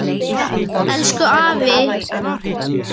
Elsku afi Þorkell er farinn.